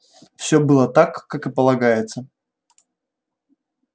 всё было так как и полагается